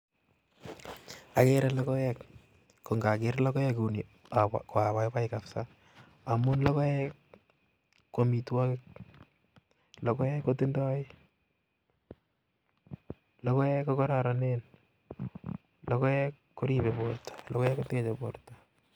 Ageere logooek, kondogeer logoek kouni ko abaibai kabisa amun logoek I ko amitwogiik, logoek KO kororonen, logoek koribe borto, logoek koteche borto